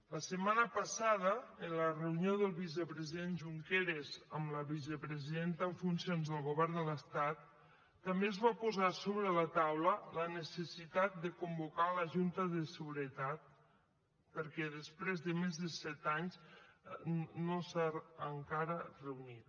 la setmana passada en la reunió del vicepresident junqueras amb la vicepresidenta en funcions del govern de l’estat també es va posar sobre la taula la necessitat de convocar la junta de seguretat perquè després de més de set anys no s’ha encara reunit